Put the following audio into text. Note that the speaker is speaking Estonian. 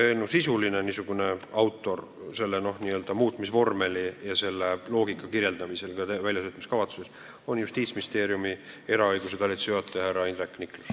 Sisuline autor, selle n-ö muutmisvormeli ja selle loogika kirjeldaja, seda ka väljatöötamiskavatsuse puhul, on Justiitsministeeriumi eraõiguse talituse juhataja härra Indrek Niklus.